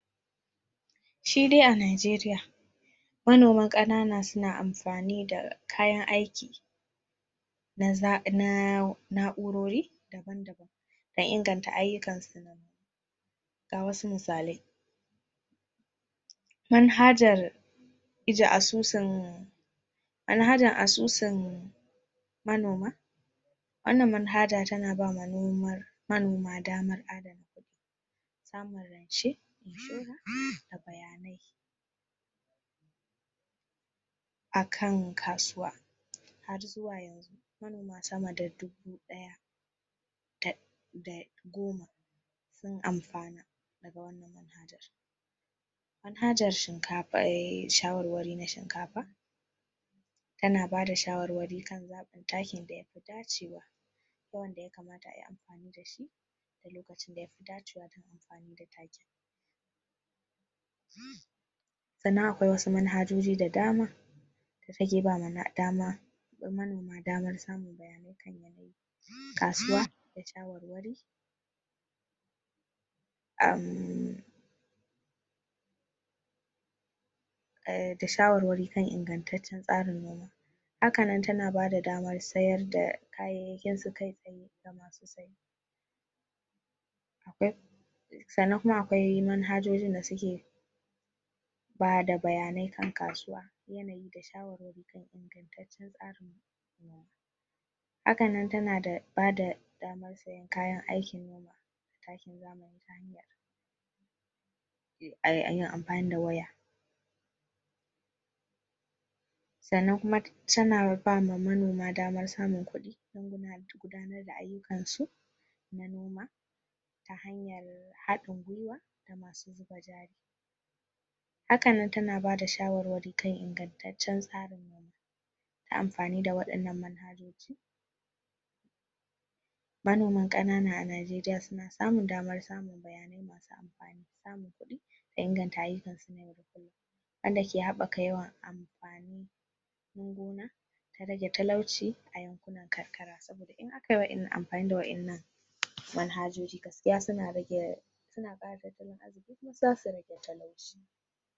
Shi de a Najeriya manoma ƙanana suna amfani da kayan aiki na na'urori da inganta ayyukansu na ga wasu misalai manhajar ijiye asusun manhajar asusun manoma wannan mahajar tana bawa manoma daman adana ƙudi samun rance, inshora da bayanai akan kasuwa har zuwa yanzu, manoma sama da dubu ɗaya da goma sun amfana daga wannan mahajar manhajar shawarwari na shinkafa kana bada shawarwari kan zaɓin takin da yafi dacewa yawan da yakamata ayi amfani da shi da lokacin da yafi dacewa dan amfanin da takin sannan akwai wasu manhajoji da dama da take bada dama manomar damar samun bayanai kan yanayi kasuwa da shawarwari uhhhmmm da shawarwari kan ingantacen tsarin noma hakanan tana bada damar sayar da kayyayakinsu kai tsaye ga masu siye akwai sanan kuma akwai manhajojin da suke bada bayanai kan kasuwa yanayi da shawarwari kan ingantacen tsarin gona hakanan tana da ba da damar siyan kayan aikin noma da takin zamani ta hayar amfani da waya sannan kuma tana bawa manoma damar samun kuɗi dan gudanar da ayyukan su na noma ta hanyar haɗin gwiwa da masu zuba jari hakanan tana bada shawarwari ta ingantaccen tsarin noma ta amfani da waɗannan manhajoji manoman ƙanan a Najeriya suna samun damar samun bayanai masu amfani, samun kuɗi da inganta ayyukansu na yau da kulum wanda ke habaka yawan amfanin gona ta rage talauci a yankunan karkara saboda in aka yawan amfani da wayannan manhajoji gaskiya suna rage suna ƙara talttalin arziki kuma zasu rage talauci.